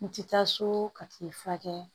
N ti taa so ka kile fila kɛ